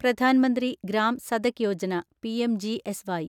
Pradhan Mantri Gram Sadak Yojana (പിഎംജിഎസ്വൈ)